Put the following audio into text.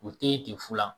U tɛ ye ten fu la